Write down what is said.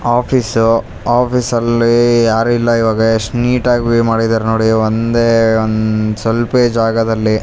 office ಆಫೀಸ್ನಲ್ಲೀ ಯಾರು ಇಲ್ಲ ಇವಗೆ ಎಷ್ಟ್ ನೀಟಾಗ್ ವೆ ಮಾಡಿದ್ದಾರೆ ನೋಡಿ ಒಂದೇ ಒಂದ್ ಸ್ವಲ್ಪೇ ಜಾಗದಲ್ಲಿ --